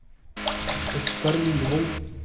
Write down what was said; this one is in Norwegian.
Oskar Myrvold